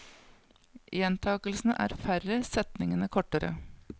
Gjentakelsene er færre, setningene kortere.